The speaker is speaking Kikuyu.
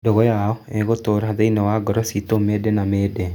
Ndũgũ yao ĩgũtũra thĩinĩ wa ngoro ciitũ mĩndĩ na mĩndĩ.